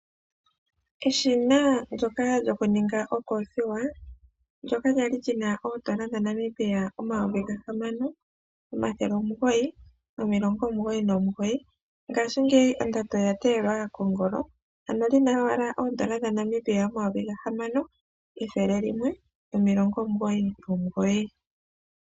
Eshina ndyoka lyokuninga okoothiwa kwali lina N$6999 ngaashingeyi ondando oya teyelwa kongola ano lina owala N$6199.